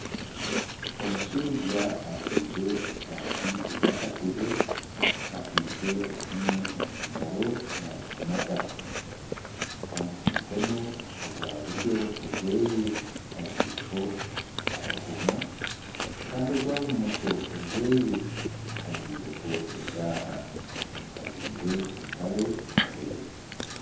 Omushaija ajwire eshaati eya kapere akwitse esimu omu ngaro naagimata kandi aha mukono ogwa buryo ogwe ajwireho akakomo kandi ogwa bumosho ajwireho eshaaha, ajwire empare erikwera